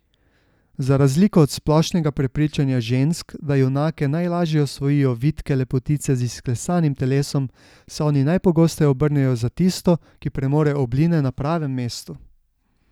Za razliko od splošnega prepričanja žensk, da junake najlažje osvojijo vitke lepotice z izklesanim telesom, se oni najpogosteje obrnejo za tisto, ki premore obline na pravem mestu.